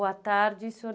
Boa tarde, senhor